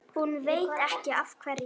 Hún veit ekki af hverju.